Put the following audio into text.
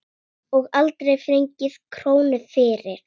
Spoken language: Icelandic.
Og aldrei fengið krónu fyrir.